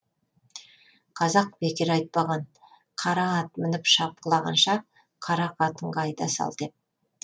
қазақ бекер айтпаған қара ат мініп шапқылағанша қара қатынға айта сал деп